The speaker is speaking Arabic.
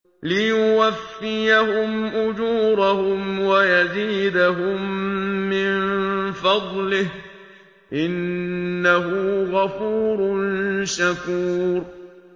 لِيُوَفِّيَهُمْ أُجُورَهُمْ وَيَزِيدَهُم مِّن فَضْلِهِ ۚ إِنَّهُ غَفُورٌ شَكُورٌ